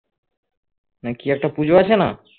না কি একটা পুজো আছে না